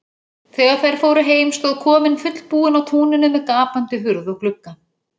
Þegar þær fóru heim stóð kofinn fullbúinn á túninu með gapandi hurð og glugga.